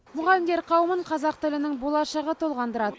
мұғалімдер қауымын қазақ тілінің болашағы толғандырады